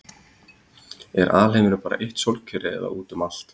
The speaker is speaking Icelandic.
er alheimurinn bara eitt sólkerfi eða út um allt